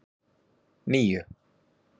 níu